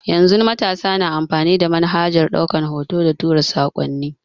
Yanzu matasa suna amfani da manhajar ɗaukan hoto da tura sakonni